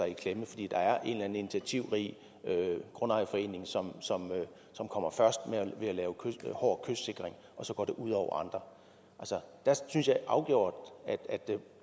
i klemme fordi der er en eller anden initiativrig grundejerforening som kommer først med at lave en hård kystsikring og så går det ud over andre der synes jeg afgjort